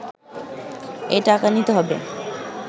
এ টাকা নিতে হবে